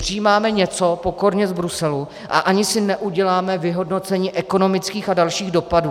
Přijímáme něco pokorně z Bruselu a ani si neuděláme vyhodnocení ekonomických a dalších dopadů.